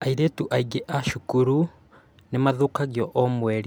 Airĩtu aingĩ a cukuru nĩ mathũkagio o mweri